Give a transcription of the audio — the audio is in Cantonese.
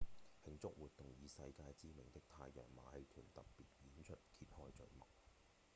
慶祝活動以世界知名的太陽馬戲團特別演出揭開序幕